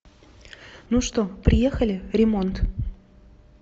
ну что приехали ремонт